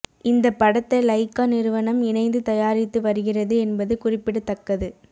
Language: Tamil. இந்த படத்தை லைகா நிறுவனம் இணைந்து தயாரித்து வருகிறது என்பது குறிப்பிடத்தக்கது